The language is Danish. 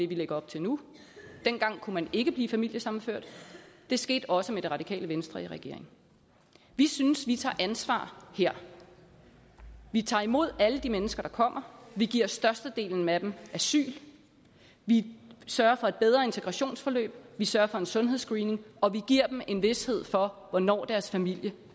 vi lægger op til nu dengang kunne man ikke blive familiesammenført det skete også med det radikale venstre i regering vi synes vi tager ansvar her vi tager imod alle de mennesker der kommer vi giver størstedelen af dem asyl vi sørger for et bedre integrationsforløb vi sørger for en sundhedsscreening og vi giver dem en vished for hvornår deres familie